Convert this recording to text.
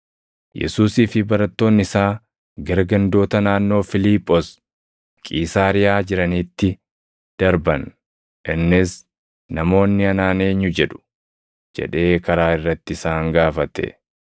Yesuusii fi barattoonni isaa gara gandoota naannoo Fiiliphoos Qiisaariyaa jiraniitti darban. Innis, “Namoonni anaan eenyu jedhu?” jedhee karaa irratti isaan gaafate.